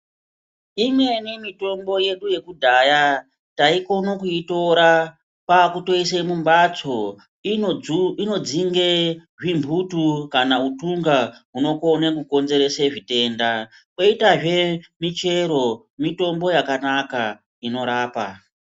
Imweni mitombo yedu yekudhaya taikona kuitora kwakutoise mumbatso inodzu inodzinge zvimbutu kana utunga unokone kukonenzerese zvitenda koitazve michero mitombo yakanaka inorapa.